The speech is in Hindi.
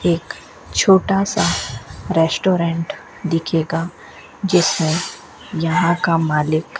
एक छोटा सा रेस्टोरेंट दिखेगा जिसमें यहां का मालिक --